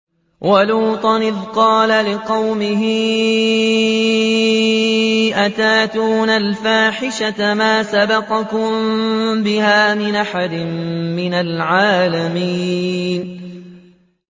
وَلُوطًا إِذْ قَالَ لِقَوْمِهِ أَتَأْتُونَ الْفَاحِشَةَ مَا سَبَقَكُم بِهَا مِنْ أَحَدٍ مِّنَ الْعَالَمِينَ